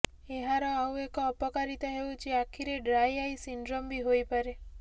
ଏହାର ଆଉ ଏକ ଅପକାରିତା ହେଉଛି ଆଖିରେ ଡ୍ରାଇ ଆଇ ସିଣ୍ଡ୍ରମ ବି ହୋଇପାରେ